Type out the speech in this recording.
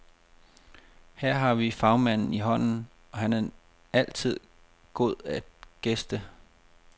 Her har vi fagmanden i hånden, og han er altid god at gæste.